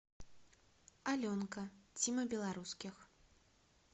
аленка тима белорусских